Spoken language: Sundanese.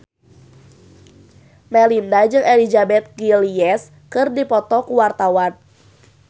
Melinda jeung Elizabeth Gillies keur dipoto ku wartawan